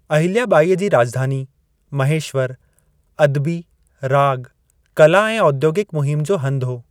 अहिल्या बाई जी राज॒धानी महेश्वर अदबी, राॻु, कला ऐं औद्योगिकु मुहिमु जो हंधु हो।